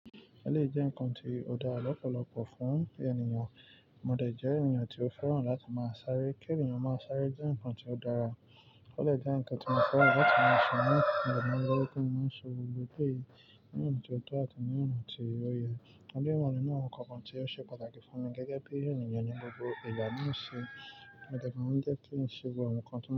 Ó lè jẹ́ ǹnkan tí ó dá lọ́pọ̀lọpọ̀ fún ènìyàn. Mo dẹ̀ jẹ́ ènìyàn tí ó fẹ́ràn láti máa sáré. Kí ènìyàn máa sáré jẹ́ ǹnkan tí ó dára. Ó lè jẹ́ ǹnkan tí mo fẹ́ràn láti máa ṣe nígbà tí mo bá ń gbé. Ní ìgbà tí mo bá ń ṣe gbogbo èyí, ní ọ̀nà tó tọ́ àti ní ọ̀nà tí ó yẹ. Ó jẹ́ ìwọ̀nu náà ǹnkan kan tí ó ṣe pàtàkì fún mi gẹ́gẹ́ bí ènìyàn ní gbogbo ìlànà ṣe. Mo dẹ̀ gbà wípé ó ń ṣe gbogbo awon ǹnkan tí.